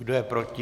Kdo je proti?